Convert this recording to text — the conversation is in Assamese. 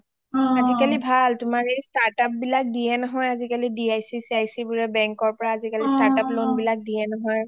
আজিকালি ভাল আজিকালি ভাল startup বিলাক দিয়ে নহয় আজিকালি dic sic বোৰ bank ৰ পৰা আজিকালি startup loan বিলাক দিয়ে নহয়